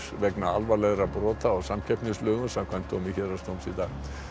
vegna alvarlegra brota á samkeppnislögum samkvæmt dómi Héraðsdóms í dag